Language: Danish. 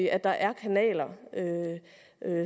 at der er kanaler